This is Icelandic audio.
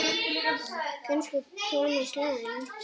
Kannski Thomas Lang.?